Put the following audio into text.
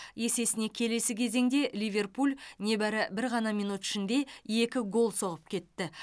есесіне келесі кезеңде ливерпуль небәрі бір ғана минут ішінде екі гол соғып кетті